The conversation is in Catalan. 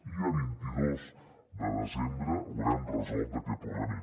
i a vint dos de desembre haurem resolt aquest problema